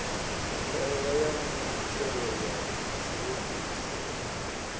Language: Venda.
ndaela ya muthelo ya tshiofisi